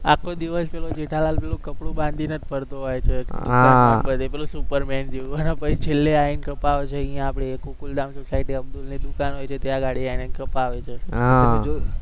આખો દિવસ જેઠાલાલ પેલું કપડું બાંધીને જ ફરતો હોય છે, પેલું સુપરમેન જેવું પછી છેલ્લે આયીને કપાવશે અહીંયા આપણે ગોકુલધામ સોસાયટી અબ્દુલની દુકાન હોય છે ત્યાં અગાડી કપાવે છે તમે જોયું